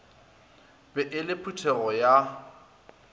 be e le phuthego ya